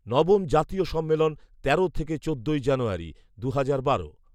নবম জাতীয় সম্মেলন, তেরো থেকে চোদ্দই জানুয়ারী, দুহাজার বারো